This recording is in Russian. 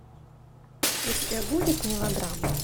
у тебя будет мелодрама